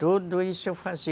Tudo isso eu fazia.